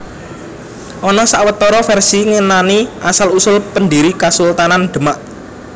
Ana sawetara vèrsi ngenani asal usul pendhiri Kasultanan Demak